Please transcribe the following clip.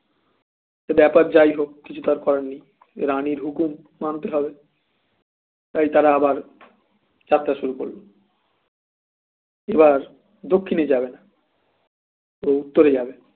তো ব্যাপার যাই হোক কিছু তো আর করার নেই রানির হুকুম মানতেই হবে তাই তারা আবার যাত্রা শুরু করল এবার দক্ষিনে যাবে না ও উত্তর এ যাবে